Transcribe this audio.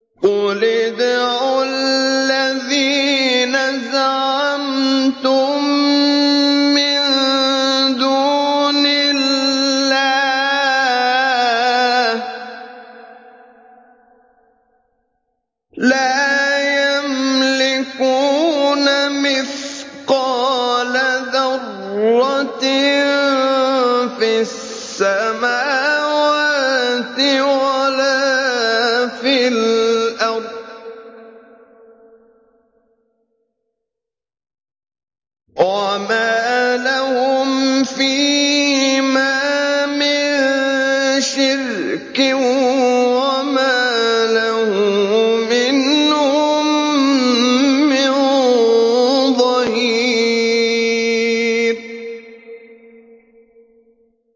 قُلِ ادْعُوا الَّذِينَ زَعَمْتُم مِّن دُونِ اللَّهِ ۖ لَا يَمْلِكُونَ مِثْقَالَ ذَرَّةٍ فِي السَّمَاوَاتِ وَلَا فِي الْأَرْضِ وَمَا لَهُمْ فِيهِمَا مِن شِرْكٍ وَمَا لَهُ مِنْهُم مِّن ظَهِيرٍ